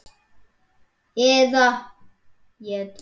eða ætt jötuns